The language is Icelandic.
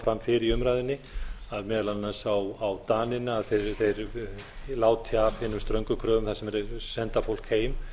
fram fyrr í umræðunni að meðal annars á dani að þeir láti af hinum ströngu kröfum þar sem þeir senda fólk heim